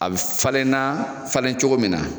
A be falen na falen cogo min na